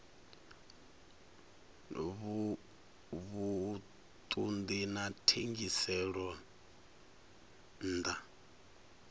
vhuṱun ḓi na thengiselonn ḓa